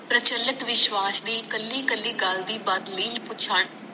ਪ੍ਰਚਲਿਤ ਵਿਸ਼ਵਾਸ ਦੀ ਕਲੀ ਕਲੀ ਗੱਲ ਦੀ